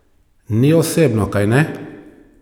Ni osebno, kajne?